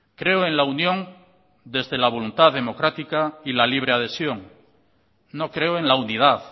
creo en la unión desde la voluntad democrática y la libre adhesión no creo en la unidad